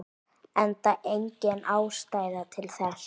Enda engin ástæða til þess.